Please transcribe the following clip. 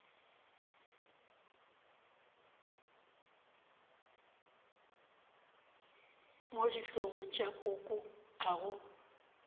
mo dihlogong tša koko ago